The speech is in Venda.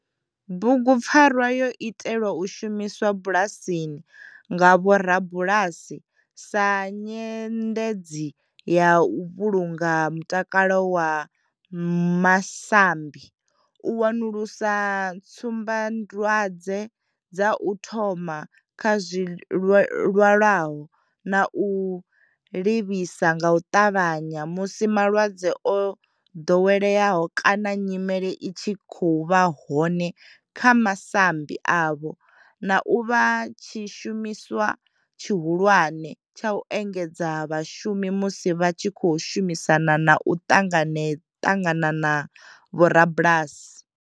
Bugupfarwa yo itelwa u shumiswa bulasini nga vhorabulasi sa nyendedzi u vhulunga mutakalo wa masambi, u wanulusa tsumbadwadzwedza u thoma kha zwilwalaho na u livhisa nga u ṱavhanya musi malwadze o dovheleaho kana nyimele i tshi vha hone kha masambi avho, na u vha tshishumiswa tshihulwane tsha u engedzedza vhashumi musi vha tshi khou shumisana na u ṱangana na vhorabulasi.